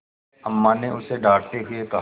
अम्मा ने उसे डाँटते हुए कहा